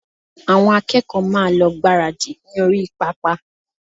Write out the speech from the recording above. Àwọn akẹ́kọ̀ọ́ máa lọ gbáradì ní orí pápá